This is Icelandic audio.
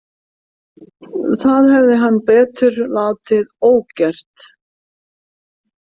Það hefði hann betur látið ógert.